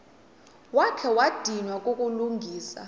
wakha wadinwa kukulungisa